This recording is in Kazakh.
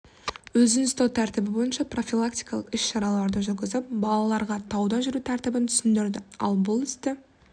өзін ұстау тәртібі бойынша профилактикалық іс-шараларды жүргізіп балаларға тауда жүру тәртібін түсіндірді ал бұл істі